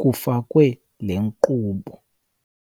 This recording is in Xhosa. kufakwe le nkqubo.